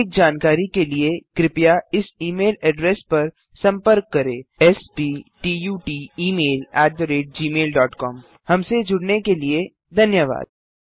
अधिक जानकारी के लिए कृपया इस ई मेल एड्रेस पर सम्पर्क करें sptutemailgmailcom हमसे जुड़ने के लिए धन्यवाद